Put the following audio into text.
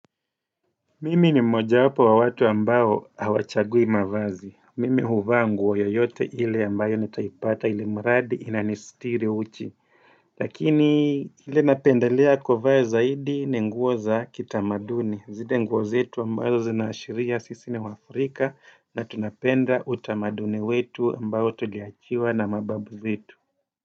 Mimi ni mmoja wapo wa watu ambao hawachagui mavazi, mimi huvaa nguo yoyote ile ambayo netaipata ilimradi inanistiri uchi Lakini iile napendelea kwa vaa zaidi ni nguo za kitamaduni, zile nguo zetu ambazo zinaashiria sisi ni waafrika na tunapenda utamaduni wetu ambayo tuliachiwa na mababu zetu.